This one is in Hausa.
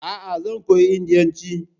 Aa, zan koyi indiyanci